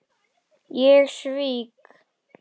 Ég svík